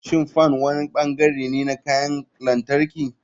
Shin fan wani bangare ne na kayan lantarki?